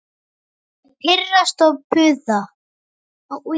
Og pirrast og puða.